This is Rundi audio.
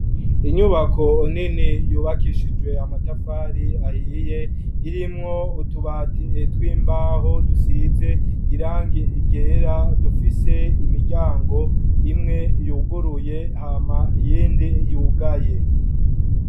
Inyubako nini yubakishijwe amatafari ahiye ,irimwo utubati tw'imbaho dusize irangi ryera dufise imiryango imwe yuguruye hama iyindi yugaye.